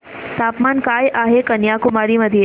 तापमान काय आहे कन्याकुमारी मध्ये